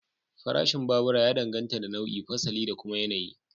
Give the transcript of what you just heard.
Farashin babura ya danganta da nau'i, fasali da kuma yanayi.